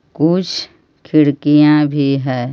कुछ खिड़कियां भी है.